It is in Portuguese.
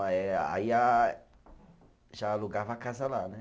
Aí a já alugava a casa lá, né?